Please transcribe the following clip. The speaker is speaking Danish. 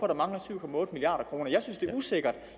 der mangler syv milliard kroner jeg synes det er usikkert